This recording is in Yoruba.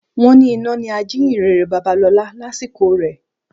Wọ́n ni iná ni ajíyìnrere Babalọlá lásìkò rẹ.